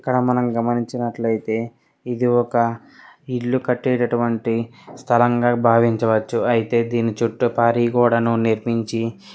ఇక్కడ మనం గమనించినట్లయితే ఇది ఒక ఇల్లు కట్టేటటువంటి స్థలంగా భావించవచ్చు. అయితే దీని చుట్టూ పారి గోడను నిర్మించి --